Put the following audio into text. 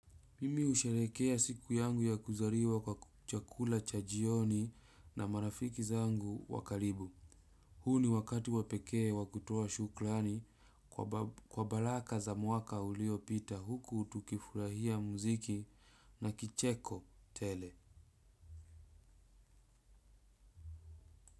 Mimi ushelekea siku yangu ya kuzariwa kwa kuchakula chajioni na marafiki zangu wakaribu. Huu ni wakati wapekee wakutoa shuklani kwa balaka za mwaka ulio pita huku tukifurahia muziki na kicheko tele.